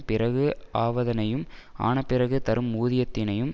பிறகு ஆவதனையும் ஆனபிறகு தரும் ஊதியத்தினையும்